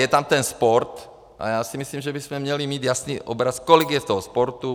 Je tam ten sport a já si myslím, že bychom měli mít jasný obraz, kolik je v tom sportu.